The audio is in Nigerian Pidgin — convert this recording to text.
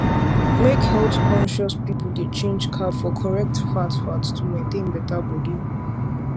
make healthconscious people dey change carb for correct fat fat to maintain better body